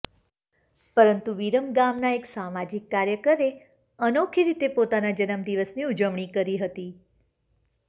પરંતુ વિરમગામના એક સામાજિક કાર્યકરે અનોખી રીતે પોતાના જન્મ દિવસની ઉજવણી કરી હતી